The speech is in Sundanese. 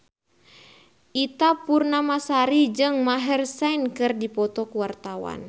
Ita Purnamasari jeung Maher Zein keur dipoto ku wartawan